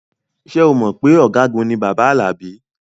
Ṣé o mọ̀ pé ọ̀gágun ni bàbá Alabi?